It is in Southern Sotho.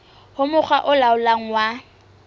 ho mokga o laolang wa